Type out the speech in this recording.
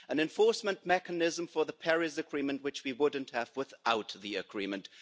an enforcement mechanism for the Paris Agreement, which we wouldn't have without the agreement.